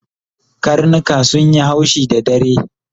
Karnika sunyi haushi da dare